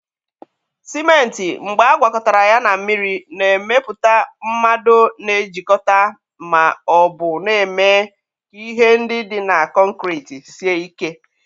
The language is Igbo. Sịmentị mgbe agwakọtara ya na mmiri, na-emepụta mmado na-ejikọta ma ọ bụ na-eme ka ihe ndị dị na kọnkriti sie ike.